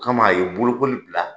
Kama a ye bolokoli bila